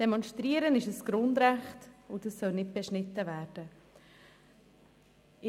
Demonstrieren ist ein Grundrecht, welches nicht beschnitten werden soll.